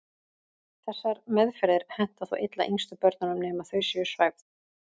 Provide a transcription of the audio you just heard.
Þessar meðferðir henta þó illa yngstu börnunum nema þau séu svæfð.